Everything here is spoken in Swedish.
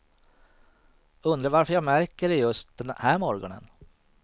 Undrar varför jag märker det just den här morgonen.